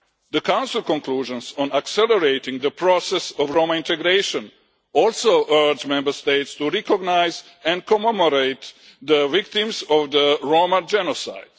The Council conclusions on accelerating the process of Roma integration also urge Member States to recognise and commemorate the victims of the Roma genocide.